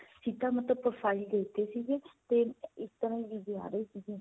ਠੀਕ ਏ ਮਤਲਬ profile ਦੇਖਦੇ ਸੀਗੇ ਤੇ ਇਸ ਤਰਾਂ ਹੀ ਵੀਜ਼ੇ ਆ ਰਹੇ ਸੀਗੇ.